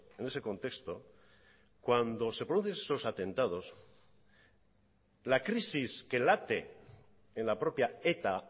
en ese contexto cuando se produce eso atentados la crisis que late en la propia eta